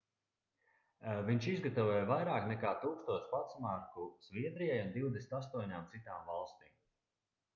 viņš izgatavoja vairāk nekā 1000 pastmarku zviedrijai un 28 citām valstīm